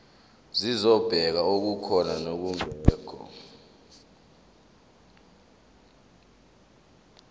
zokubheka okukhona nokungekho